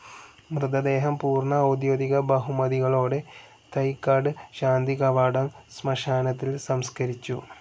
മൃതദേഹം പൂർണ്ണ ഔദ്യോഗിക ബഹുമതികളോടെ തൈക്കാട് ശാന്തികവാടം ശ്മശാനത്തിൽ സംസ്കരിച്ചു.